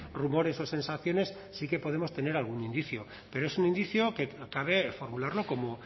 rumores o sensaciones sí que podemos tener algún indicio pero es un indicio que cabe formularlo como